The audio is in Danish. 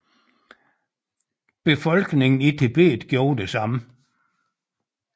Befolkningen i Tibet gjorde det samme